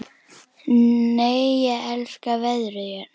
Nei, ég elska veðrið hérna!